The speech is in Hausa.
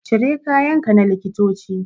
Cire kayan ka na likitoci